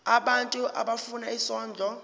abantu abafuna isondlo